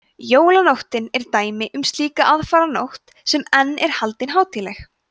jólanóttin er dæmi um slíka aðfaranótt sem enn er haldin hátíðleg